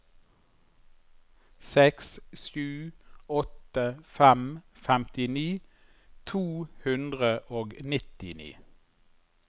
seks sju åtte fem femtini to hundre og nittini